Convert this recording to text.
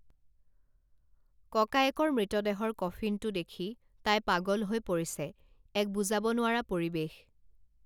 ককায়েকৰ মৃতদেহৰ কফিনটো দেখি তাই পাগল হৈ পৰিছে এক বুজাব নোৱাৰা পৰিৱেশ